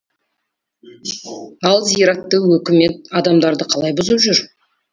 ал зиратты өкімет адамдары қалай бұзып жүр